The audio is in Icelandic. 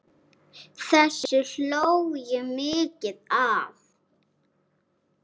Þessu hló ég mikið að.